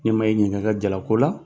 Ne ma e ɲininka i ka jalako la